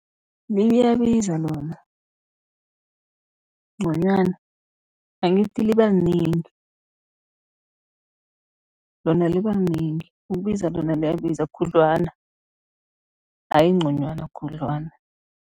Liyabiza noma nconywana, angithi liba linengi lona liba linengi. Ukubiza lona liyabiza khudlwana ayi nconywana, khudlwana.